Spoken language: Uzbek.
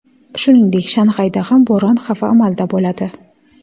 Shuningdek, Shanxayda ham bo‘ron xavfi amalda bo‘ladi.